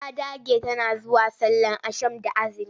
Ta dage tana zuwa sallar ashan da aazumi.